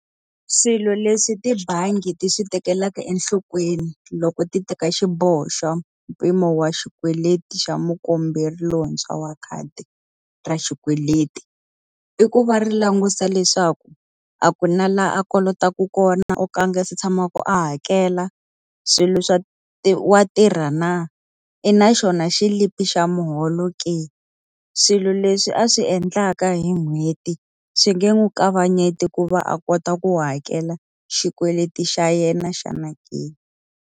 Swilo leswi tibangi ti swi tekelaka enhlokweni loko ti teka xiboho xo mpimo wa xikweleti xa mukomberi lontshwa wa khadi ra xikweleti, i ku va ri langutisa leswaku a ku na laha a kolotaka kona ko ka a nga se tshama ku a hakela. Swilo swa wa tirha na? I na xona xilipi xa muholo ke? Swilo leswi a swi endlaka hi n'hweti, swi nge n'wi kavanyeti ku va a kota ku hakela xikweleti xa yena xana ke?